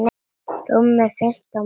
Rúmir fimmtán metrar.